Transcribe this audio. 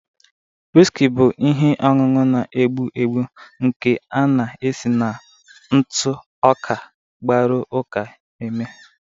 Wiski bụ ihe ọṅụṅụ na-egbu egbu nke a na-esi na ntụ ọka gbaru uka eme.